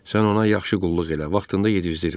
Sən ona yaxşı qulluq elə, vaxtında yedizdir.